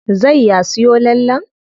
Zai ya siyo lallen?